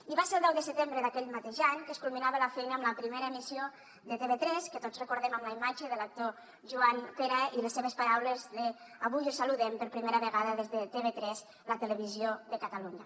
i va ser el deu de setembre d’aquell mateix any que es culminava la feina amb la primera emissió de tv3 que tots recordem amb la imatge de l’actor joan pera i les seves paraules avui us saludem per primera vegada des de tv3 la televisió de catalunya